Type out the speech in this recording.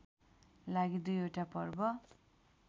लागि दुईवटा पर्व